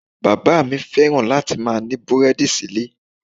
Bàbá mi fẹ́ràn láti máa ní búrẹ́dì síle.